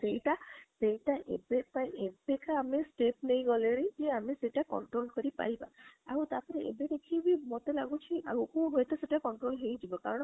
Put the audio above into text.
ସେଇଟା ଏବେ ପାଇଁ ଏବେକା ଆମେ step ନେଇଗଲେଣି କି ସେଟା ଆମେ control କରି ପାରିବା ଆଉ ଏବେ ଦେଖିକି ମତେ ଲାଗୁଛି ଆମକୁ ସହିତ control ହେଇ ଯିବ କାରଣ